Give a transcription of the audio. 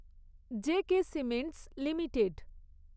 J K cements limited